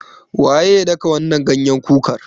Waye ya daka wannan ganyen kukar?